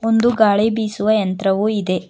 ಒಂದು ಗಾಳಿ ಬೀಸುವ ಯಂತ್ರವು ಇದೆ.